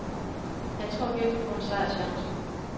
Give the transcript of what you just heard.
Jeg tror virkelig på en sejrschance.